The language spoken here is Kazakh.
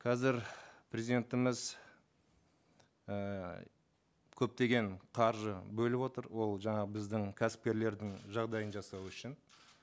қазір президентіміз ііі көптеген қаржы бөліп отыр ол жаңағы біздің кәсіпкерлердің жағдайын жасау үшін